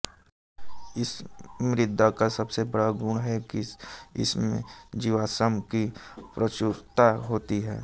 इस मृदा का सबसे बड़ा गुण है कि इसमे जीवाश्म की प्रचुरता होती है